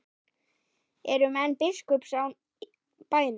Eru menn biskups á bænum?